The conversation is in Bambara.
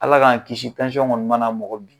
Ala k'an kisi tansiyɔn kɔni mana mɔgɔ bin